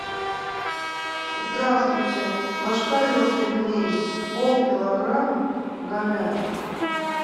здравствуйте ложкарев пельмени полкилограмма говядина